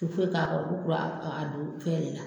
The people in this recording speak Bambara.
ti oyo k'a kɔrɔ a don fɛn de la.